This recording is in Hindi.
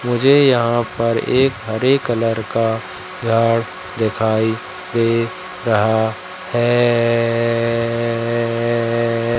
मुझे यहां पर एक हरे कलर का झाड़ दिखाई दे रहा है।